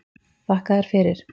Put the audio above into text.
Þakka þér fyrir